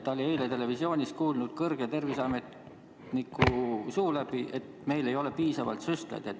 Ta oli eile televisioonis kuulnud kõrge terviseametniku suu läbi, et meil ei ole piisavalt süstlaid.